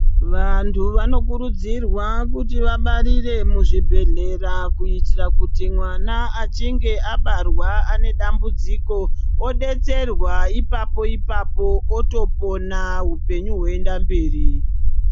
Vantu vanokurudzirwa kuti vabarire muzvibhehlera kuitira kuti mwana achinge abarwa ane dambudziko odetserwa ipapo ipapo otopona upenyu hwoenda mberi.